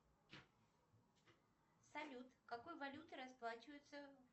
салют какой валютой расплачиваются